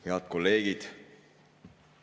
Head kolleegid!